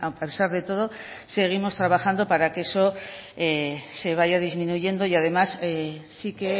pesar de todo seguimos trabajando para que eso se vaya disminuyendo y además sí que